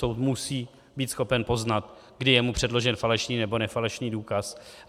Soud musí být schopen poznat, kdy je mu předložen falešný nebo nefalešný důkaz.